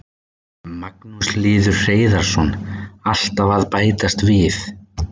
Magnús Hlynur Hreiðarsson: Alltaf að bætast við?